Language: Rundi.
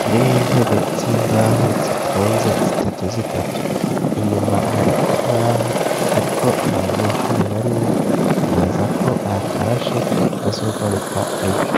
kirimw'intebe z'imbaho zitonze zitatu zitatu inyuma hari ikibaho ariko nta banyeshuri barimwo twibaza ko batashe bazogaruka ejo.